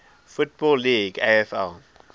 football league afl